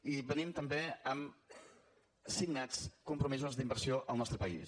i venim també amb signats compromisos d’inversió al nostre país